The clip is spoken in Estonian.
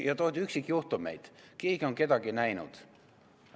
Ja toodi üksikjuhtumeid – keegi on kedagi näinud.